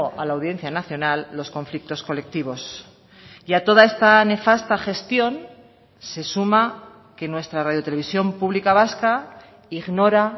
a la audiencia nacional los conflictos colectivos y a toda esta nefasta gestión se suma que nuestra radio televisión pública vasca ignora